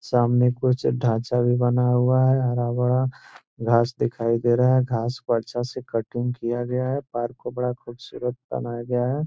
सामने कुछ ढांचा भी बना हुआ है हरा-भरा घास दिखाई दे रहा है घास को अच्छे से कटिंग किया गया है पार्क को बड़ा खूबसूरत बनाया गया है।